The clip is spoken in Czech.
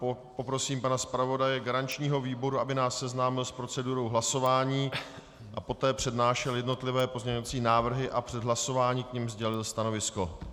Poprosím pana zpravodaje garančního výboru, aby nás seznámil s procedurou hlasování a poté přednášel jednotlivé pozměňovací návrhy a před hlasováním k nim sdělil stanovisko.